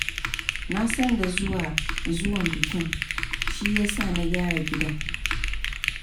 Na san da zuwan bakin, shi ya sa na gyara gidan.